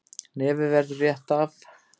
Nefið verður rétt af.